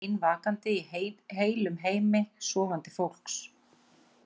Ég var ein vakandi í heilum heimi sofandi fólks.